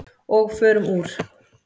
Og förum úr.